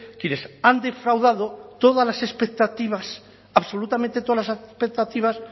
quienes han defraudado todas las expectativas absolutamente todas las expectativas